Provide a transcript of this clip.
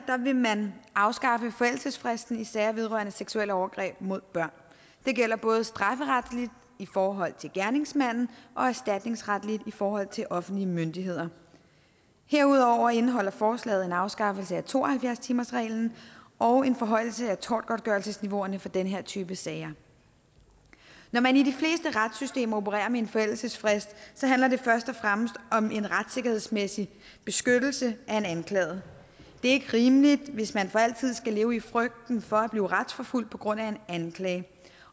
vil man afskaffe forældelsesfristen i sager vedrørende seksuelle overgreb mod børn det gælder både strafferetligt i forhold til gerningsmanden og erstatningsretligt i forhold til offentlige myndigheder herudover indeholder forslaget en afskaffelse af to og halvfjerds timersreglen og en forhøjelse af tortgodtgørelsesniveauerne for den her type sager når man i de fleste retssystemer opererer med en forældelsesfrist handler det først og fremmest om en retssikkerhedsmæssig beskyttelse af en anklaget det ikke rimeligt hvis man for altid skal leve i frygten for at blive retsforfulgt på grund af en anklage